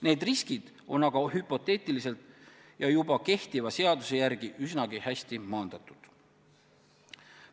Need riskid on aga hüpoteetilised ja juba kehtiva seaduse järgi üsna hästi maandatud.